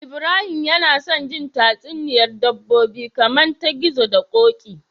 Ibrahim yAna son jin tatsuniyar dabbobi kaman ta gizo da koki